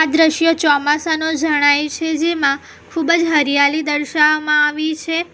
દ્રશ્ય ચોમાસાનો જણાય છે જેમાં ખૂબ જ હરિયાલી દર્શાવવામાં આવી છે.